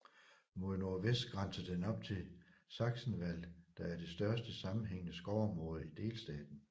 Mod nordvest grænser den op til Sachsenwald der er det største sammenhængende skovområde i delstaten